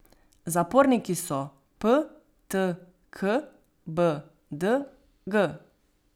Zaporniki so p, t, k, b, d, g.